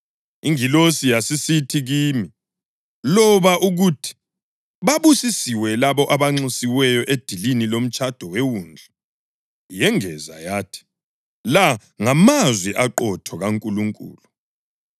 Ingilosi yasisithi kimi, “Loba ukuthi: Babusisiwe labo abanxusiweyo edilini lomtshado weWundlu!” Yengeza yathi, “La ngamazwi aqotho kaNkulunkulu.”